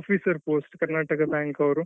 officer post Karnataka bank ಅವ್ರು.